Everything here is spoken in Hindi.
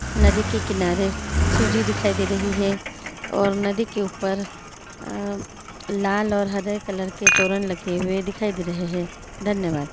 नदी के किनारे सीढी दिखाई दे रही हे और नदी के ऊपर अं लाल और हरे कलर के तोरण लगे हुए दिखाई दे रहे हे धन्यवाद।